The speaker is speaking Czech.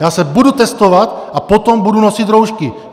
Já se budu testovat a potom budu nosit roušky.